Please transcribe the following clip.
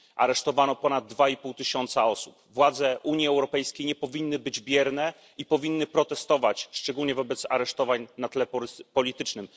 Aresztowano ponad dwa i pół tysiąca osób. Władze Unii Europejskiej nie powinny być bierne i powinny protestować, szczególnie wobec aresztowań na tle politycznym.